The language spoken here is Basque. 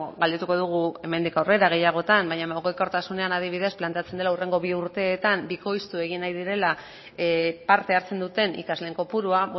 galdetuko dugu hemendik aurrera gehiagotan baina mugikortasunean adibidez planteatzen dela hurrengo bi urteetan bikoiztu egin nahi direla parte hartzen duten ikasleen kopurua